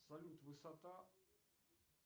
салют высота